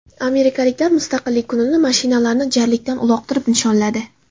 Amerikaliklar Mustaqillik kunini mashinalarni jarlikdan uloqtirib nishonladi .